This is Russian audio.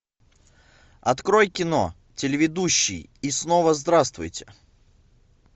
открой кино телеведущий и снова здравствуйте